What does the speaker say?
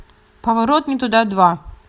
поворот не туда два